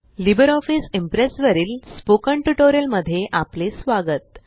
Libre office Impress वरील spoken tutorial मध्ये आपले स्वागत